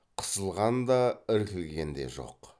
қысылған да іркілген де жоқ